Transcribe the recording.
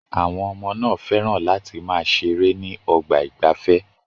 Àwọn ọmọ náà fẹ́ràn láti máa ṣeré ní ọgbà ìgbafẹ́.